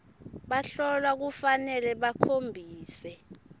bahlolwa kufanele bakhombise